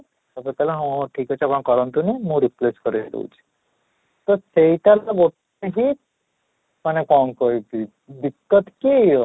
ସେତେବେଳେ ସେ କହିଲା ହଁ ହଁ ଠିକ ଅଛି ଆପଣ କରନ୍ତୁ ନି ମୁଁ request କରେଇ ଦେଉଛି ତ ସେଇଟା ଗୋଟେ ହିଁ ମାନେ କଣ କହିବି କି